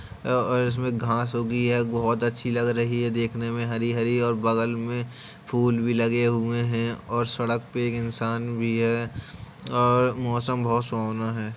अ-अ इसमें घास उगी है बोहोत अच्छी लग रही है देखने मे हरी-हरी और बगल मेल फूल भी लगे हुए हैं और सड़क पे एक इन्सान भी है और मौसम भी बोहोत सुहाना है।